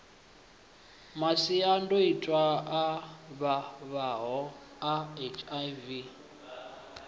masiandoitwa a vhavhaho a hiv